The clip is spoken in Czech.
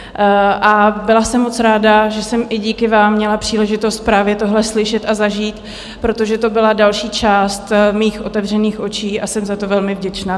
A byla jsem moc ráda, že jsem i díky vám měla příležitost právě tohle slyšet a zažít, protože to byla další část mých otevřených očí a jsem za to velmi vděčná.